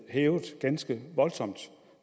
hævet ganske voldsomt